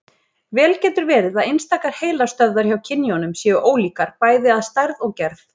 Vel getur verið að einstakar heilastöðvar hjá kynjunum séu ólíkar, bæði að stærð og gerð.